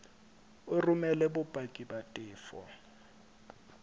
o romele bopaki ba tefo